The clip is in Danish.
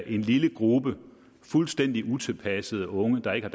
en lille gruppe fuldstændig utilpassede unge der ikke har